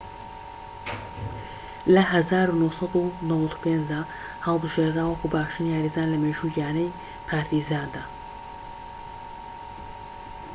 لە ١٩٩٥ دا هەڵبژێدرا وەکو باشترین یاریزان لە مێژووی یانەی پارتیزاندا